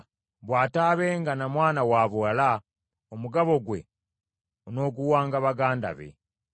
Bw’ataabenga na mwana wabuwala, omugabo gwe onooguwanga baganda be.